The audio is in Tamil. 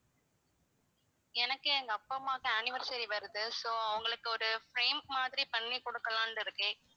எனக்கு எங்க அப்பா அம்மாக்கு anniversary வருது so அவங்களுக்கு ஒரு frame மாதிரி பண்ணி கொடுக்கலாம்னு இருக்கேன்.